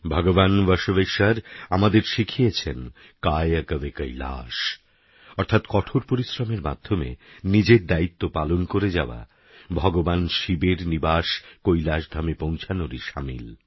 ভগবান বসবেশ্বর আমাদের শিখিয়েছেন কায়কবেকৈলাশ অর্থাৎ কঠোর পরিশ্রমের মাধ্যমে নিজের দায়িত্ব পালন করে যাওয়া ভগবান শিবের নিবাস কৈলাশধামে পৌঁছোনরই সামিল